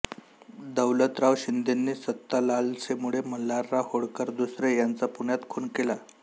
दौलतराव शिंदेंनी सत्तालालसेमुळे मल्हारराव होळकर दुसरे यांचा पुण्यात खुन केला